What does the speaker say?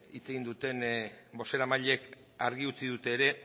hitz egin duten bozeramileek argi utzi dut ere